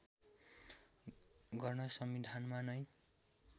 गर्न संविधानमा नै